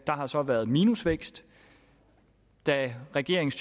har så været minusvækst da regeringens